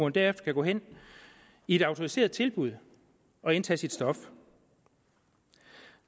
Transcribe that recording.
derefter kan gå hen i et autoriseret tilbud og indtage sit stof